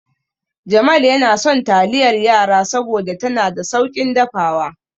Jamal yana son taliyar yara saboda tana da sauƙin dafawa.